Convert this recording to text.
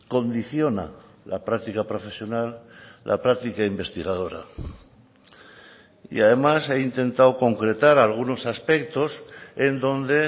condiciona la práctica profesional la práctica investigadora y además he intentado concretar algunos aspectos en donde